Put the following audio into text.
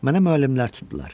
Mənə müəllimlər tutdular.